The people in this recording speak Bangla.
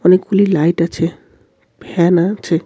অনেকগুলি লাইট আছে ফ্যান আ-ছে।